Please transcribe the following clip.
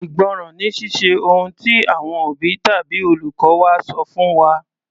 Ìgbọ́ràn ni Ṣíṣe ohun tí àwọn òbí tàbí olùkọ́ wa sọ fún wa.